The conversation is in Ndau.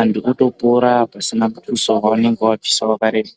anthu otopora pasina mutuso wavanenge vabvisa wakareba.